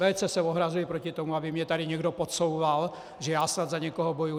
Velice se ohrazuji proti tomu, aby mi tady někdo podsouval, že já snad za někoho bojuji.